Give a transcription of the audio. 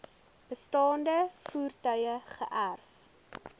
bestaande voertuie geërf